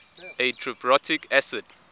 a triprotic acid